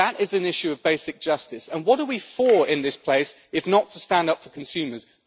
That is an issue of basic justice, and what are we for in this place, if not to stand up for consumers?